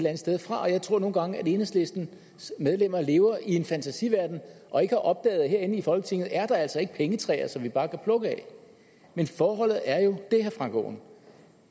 andet sted fra jeg tror nogle gange at enhedslistens medlemmer lever i en fantasiverden og ikke har opdaget at herinde i folketinget er der altså ikke pengetræer som vi bare kan plukke af men forholdet er jo det herre frank aaen